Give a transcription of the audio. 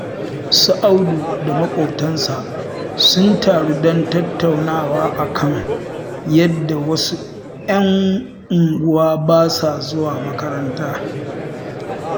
Su Abdu da maƙotansa sun taru don tattaunawa a kan yadda wasu 'yan unguwa ba sa zuwa makaranta